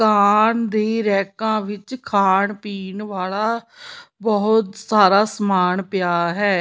ਦੁਕਾਨ ਦੀ ਰੈਕਾਂ ਵਿੱਚ ਖਾਣ ਪੀਣ ਵਾਲਾ ਬਹੁਤ ਸਾਰਾ ਸਮਾਨ ਪਿਆ ਹੈ।